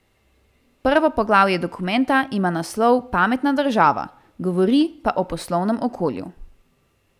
Prvo poglavje dokumenta ima naslov Pametna država, govori pa o poslovnem okolju.